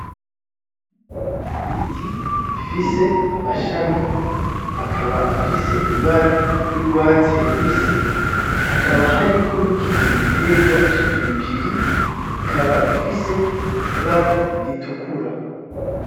Ibiti bifise amashami akaba afise ibara ryurwatsi rubisi, hakaba hariko nikindi giterwa cipiripiri ikaba ifise ibara ritukura.